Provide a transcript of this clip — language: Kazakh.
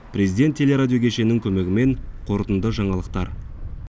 президент теле радио кешенінің көмегімен қорытынды жаңалықтар